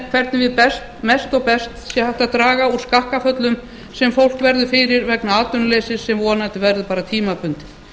hvernig við mest og best sé hægt að draga úr skakkaföllum sem fólk verður fyrir vegna atvinnuleysis sem vonandi verður bara tímabundið